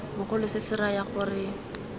bogolo se se raya gore